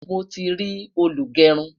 mọ tí rí olugerun